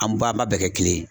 An ba an b'a bɛɛ kɛ kelen ye.